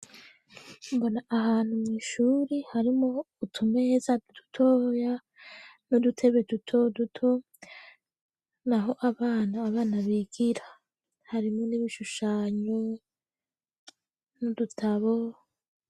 mbona ahantu mw'ishuri harimwo utumeza dutoya n'udutebe dutoduto naho abana abana bigira harimo n'ibishushanyo n'udutabo.